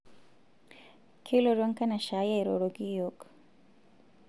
kelotu enkanashe ai airoroki iyiok